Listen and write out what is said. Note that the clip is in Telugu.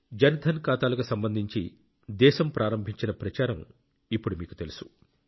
జన్ ధన్ ఖాతాలకు సంబంధించి దేశం ప్రారంభించిన ప్రచారం ఇప్పుడు మీకు తెలుసు